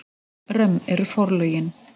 Römm eru forlögin.